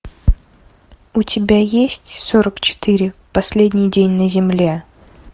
у тебя есть сорок четыре последний день на земле